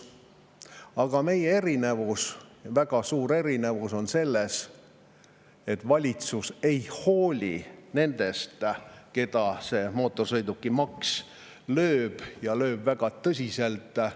Aga meie erinevus, väga suur erinevus on selles, et valitsus ei hooli nendest, keda mootorsõidukimaks lööb, ja lööb väga tõsiselt.